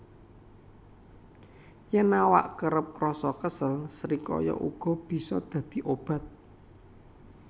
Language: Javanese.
Yèn awak kerep krasa kesel srikaya uga bisa dadi obat